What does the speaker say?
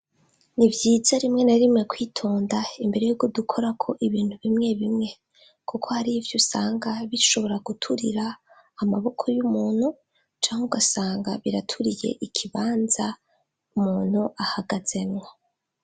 Nivyiza rimwe na rimwe kwitonda imbere yuko dukorako ibintu bimwe bimwe, kuko har' ivyo usanga bishobora guturira amaboko y'umuntu, cank' ugasanga biraturiye ikibanza umuntu ahagazemwo.